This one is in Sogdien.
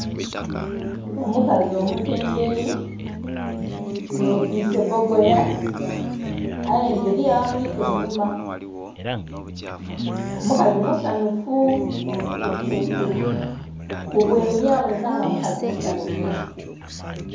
Omukazi omutembeeyi, yetwiise bogoya aye nga eriyo abamuliku einhuma. Omukazi musanhufu, kubwenhi aboneka nga mukazi musanhufu